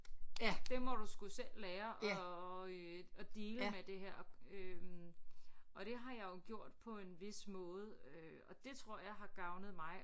Det må du sgu selv lære at øh at deale med det her øh og det har jeg jo gjort på en vis måde øh og det tror jeg har gavnet mig